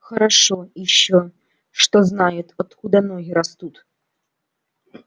хорошо ещё что знаю откуда ноги растут